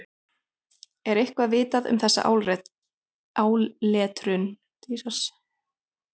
Er eitthvað vitað um þessa áletrun?